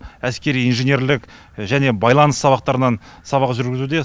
әскери инженерлік байланыс сабақтарынан сабақ жүргізуде